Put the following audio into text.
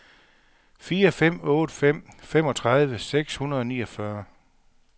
fire fem otte fem femogtredive seks hundrede og niogfyrre